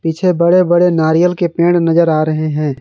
पीछे बड़े-बड़े नारियल के पेड़ नजर आ रहे हैं।